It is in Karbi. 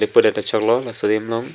pudet ta choklo laso adim long.